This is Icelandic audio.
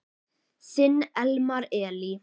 Þinn Elmar Elí.